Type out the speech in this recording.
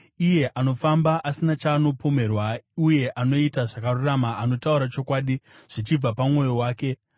Iye anofamba asina chaanopomerwa uye anoita zvakarurama, anotaura chokwadi zvichibva pamwoyo wake,